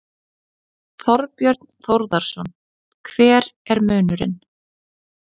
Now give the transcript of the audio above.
Þorbjörn Þórðarson: Hver er munurinn?